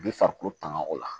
Bi farikolo tanga o la